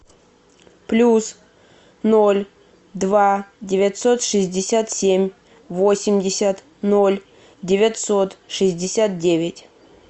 плюс ноль два девятьсот шестьдесят семь восемьдесят ноль девятьсот шестьдесят девять